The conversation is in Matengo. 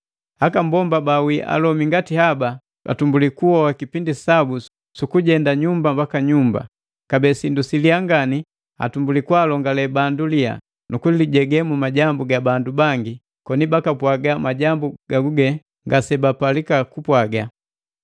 Aka mbomba bawii alomi ngati haba atumbuli kuhoa kipindi sabu suku jendajenda nyumba mbaki nyumba; kabee sindu siliyaa ngani atumbuli kwaalongale bandu liya, nukulijege mu majambu ga bandu bangi, koni bakapwaga majambu gaguge ngasebapalika kupwaga.